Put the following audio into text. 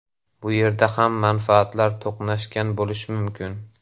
Bu yerda ham manfaatlar to‘qnashgan bo‘lishi mumkin.